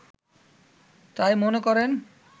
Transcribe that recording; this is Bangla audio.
তাই মনে করেন